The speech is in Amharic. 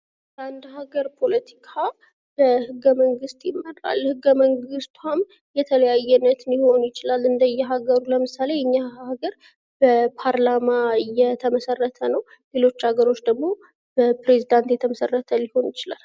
የአንድ ሀገር ፖለቲካ በህገ መንግስት ይመራል ህገ መንግቷም የተለያዩ አይነት ሊኖረው ይችላል እንደ ሀገሩ ለምሳሌ የኛ ሀገር በፓርላማ የተመሠረተ ነው ሌሎች ሀገሮች ደግሞ በፕሬዚዳንት የተመሰረተ ሊሆን ይችላል።